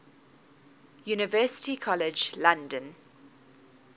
university college london